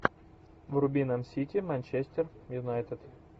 вруби нам сити манчестер юнайтед